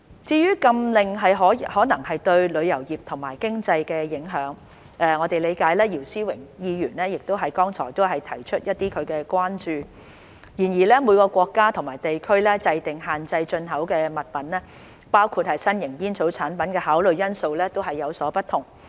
至於禁令可能對旅遊業及經濟的影響，我們理解姚思榮議員剛才亦提出他的關注，然而每個國家或地區制訂限制進口物品，包括新型煙草產品的考慮因素都有所不同。